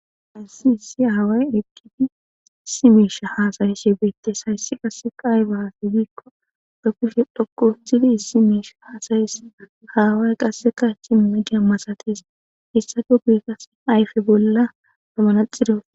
Assi issi haaway eqqidi issi meesha hasayishe geytes hayssi qasseka ayfe haafe giikko dhoppushe dhokku huthidi issi meisha haasayis haaway qasseka simma jammasatis issafo guikas ayfe bolla zamanaxido.